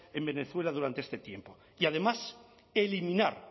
en venezuela durante este tiempo y además eliminar